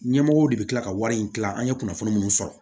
Ɲɛmɔgɔw de bɛ kila ka wari in dilan an ye kunnafoni minnu sɔrɔ